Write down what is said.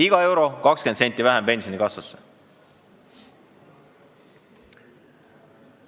Iga euro pealt 20 senti vähem pensionikassasse!